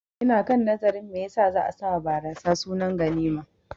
Ina kan nazarin me yasa za'a sawa barasa sunar ganima